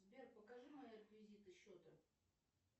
сбер покажи мои реквизиты счета